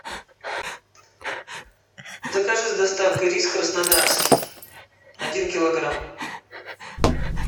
закажи с доставкой рис краснодарский один килограмм